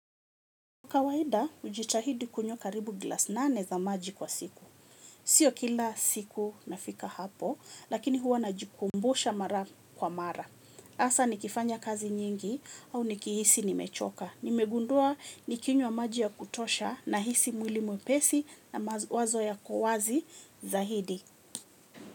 Kawaida, hujitahidi kunywa karibu glasi nane za maji kwa siku. Sio kila siku nafika hapo, lakini huwa najikumbusha mara kwa mara. Hasa nikifanya kazi nyingi au nikihisi nimechoka. Nimegundua nikinywa maji ya kutosha nahisi mwili mwepesi na mawazo yako wazi zaidi.